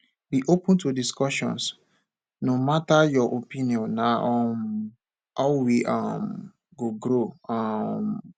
be open to discussions no matter your opinion na um how we um go grow um